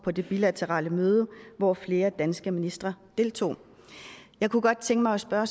på det bilaterale møde hvor flere danske ministre deltog jeg kunne godt tænke mig at spørge